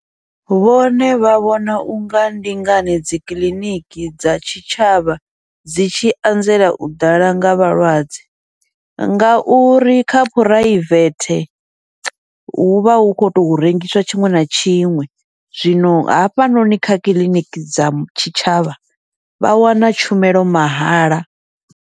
Vhone vha vhona unga ndi ngani dzikiḽiniki dza tshitshavha dzi tshi anzela u ḓala nga vhalwadze, ngauri kha phuraivele huvha hu khou to rengiswa tshiṅwe na tshiṅwe, zwino hafha noni kha kiḽiniki dza tshi tshavha vha wana tshumelo mahala.